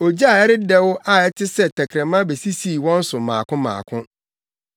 Ogya a ɛredɛw a ɛte sɛ tɛkrɛma besisii wɔn so mmaako mmaako.